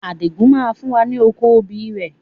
Adigun máa fún wa ní oko obì rẹ.